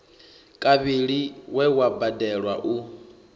kavhili we wa badelwa u